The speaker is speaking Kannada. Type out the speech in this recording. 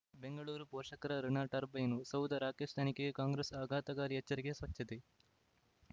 ಬೆಂಗಳೂರು ಪೋಷಕರಋಣ ಟರ್ಬೈನು ಸೌಧ ರಾಕೇಶ್ ತನಿಖೆಗೆ ಕಾಂಗ್ರೆಸ್ ಆಘಾತಕಾರಿ ಎಚ್ಚರಿಕೆ ಸ್ವಚ್ಛತೆ